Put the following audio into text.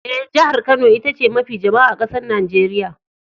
Eh, jihar Kano ita ce mafi jama'a a'kasan Nijeriya.